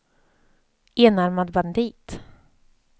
enarmad bandit